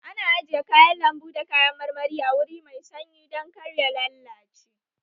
Ana ajiye kayan lanbu da kayan marmari a wuri mai sanyi dan kar ya lallace